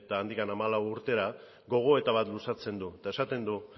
eta handik hamalau urtera gogoeta bat luzatzen du eta esaten du